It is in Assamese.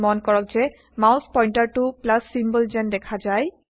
মন কৰক যে মাউছ পইন্টাৰটো প্লাছ চিম্বল যেন দেখা যায়